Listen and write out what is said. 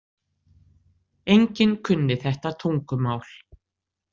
Enginn kunni þetta tungumál.